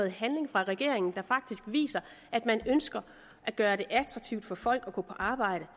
en handling fra regeringen der faktisk viser at man ønsker at gøre det attraktivt for folk at gå på arbejde